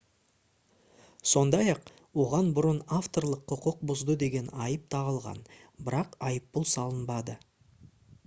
сондай-ақ оған бұрын авторлық құқық бұзды деген айып тағылған бірақ айыппұл салынбады